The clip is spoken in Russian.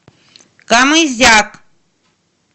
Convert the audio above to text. камызяк